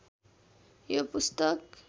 यो पुस्तक